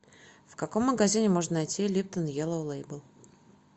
в каком магазине можно найти липтон еллоу лейбл